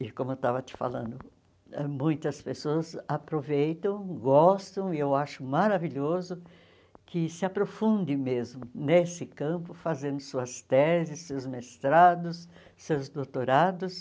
E como eu estava te falando, muitas pessoas aproveitam, gostam, e eu acho maravilhoso que se aprofunde mesmo nesse campo, fazendo suas teses, seus mestrados, seus doutorados.